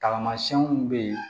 Taamasiyɛnw bɛ yen